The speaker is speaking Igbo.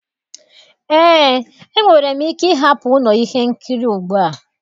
Eé, enwere m ike ịhapụ ụlọ ihe nkiri ugbu a.